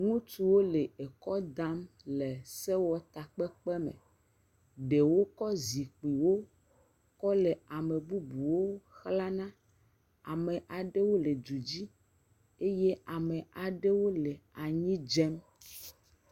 Ŋutsuwo le ekɔ dam le sewɔtakpɔkpɔ me. Ɖewo kɔ zikpuiwo kɔ le ame bubuwo xlana. Ame aɖewo le du dzi eye ame aɖewo le anyi dzem.